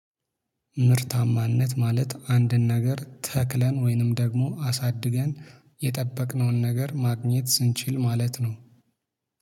ምርታማነት ማለት አንድን ነገር ተክለን ወይንም ደግሞ አሳድገን የጠበቅነውን ነገር ማግኘት ስንችል ማለት ነው።